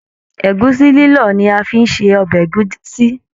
Ẹ̀gúsí lilọ ni a fí n ṣe ọbẹ ẹ̀gúsí.